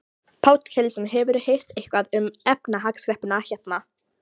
Páll Ketilsson: Hefurðu heyrt eitthvað um efnahagskreppuna hérna?